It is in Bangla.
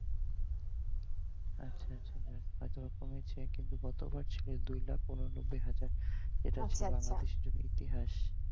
হয়তো কমেছে কিন্তু গত বছরে দুই লাখ পনেরো নব্বই হাজার ইতিহাস